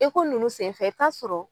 ninnu senfɛ i bi t'a sɔrɔ.